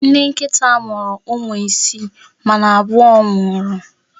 Nne nkịta a mụrụ ụmụ isii, mana abụọ nwụrụ.